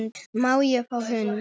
Má ég fá hund?